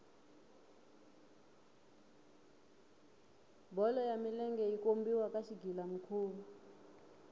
bolo ya milenge yi kombiwa ka xigila mikhuva